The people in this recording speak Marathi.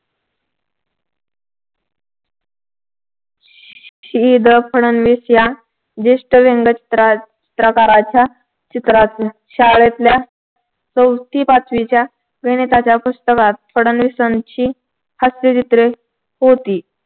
श्री. द. फडणवीस या ज्येष्ठ व्यांगचित्रात सहकाराच्या चित्रांतील शाळेतल्या चौथी पाचवीच्या गणिताच्या पुस्तकात फडणवीसांची हास्यचित्रे होती.